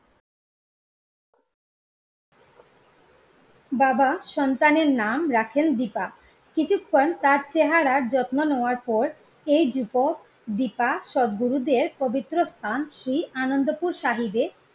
বাবা সন্তানের নাম রাখেন দিপা, কিছুক্ষন তার চেহারার যত্ন নেওয়ার পর দিপা সৎগুরুদেব পবিত্র স্থান শ্রী আনন্দপুর সাহিদে